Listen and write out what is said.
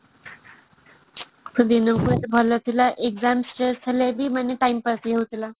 ସେଦିନ କେତେ ଭଲ ଥିଲା exam stress ଥିଲେ ବି ମାନେ time pass ହେଇଯାଉଥିଲା